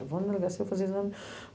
Eu vou na delegacia, vou fazer exame.